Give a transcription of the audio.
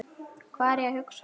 Hvað er ég að hugsa?